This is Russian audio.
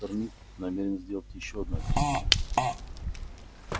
доктор мид намерен сделать ещё одно объяснение